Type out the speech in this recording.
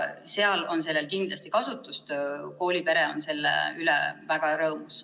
Seal on sellel kindlasti kasutust ja koolipere on selle üle väga rõõmus.